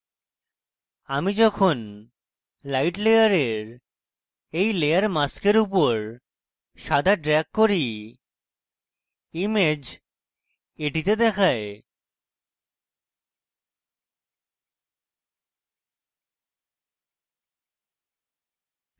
আমি যখন light layer when layer mask উপর সাদা ড্রেগ করি image এটিতে দেখায়